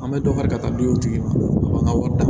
An bɛ dɔ fara ka taa dutigi ma o b'an ka wari ta